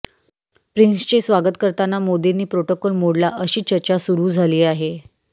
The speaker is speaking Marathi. प्रिन्सचे स्वागत करताना मोदींनी प्रोटोकॉल मोडला अशी चर्चा सुरू झाली आहे